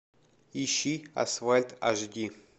ищи асфальт аш ди